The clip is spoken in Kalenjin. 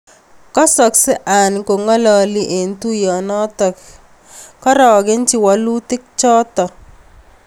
Kasakse Hearn kongololi eng tuyonotok kotaku kouan kaaragenchi walutik choto.